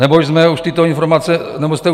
Nebo jste už tyto informace dostali?